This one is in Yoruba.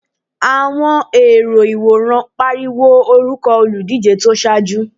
Àwọn èrò ìwòran pariwo orúkọ olùdíje tó ṣáájú.